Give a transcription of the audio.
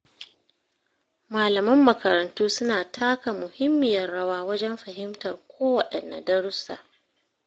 Malaman makarantu suna taka muhimmiyar rawa wajen fahimtar kowaɗanne darussa.